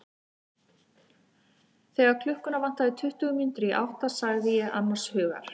Þegar klukkuna vantaði tuttugu mínútur í átta sagði ég annars hugar.